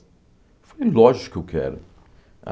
Eu falei, lógico que eu quero.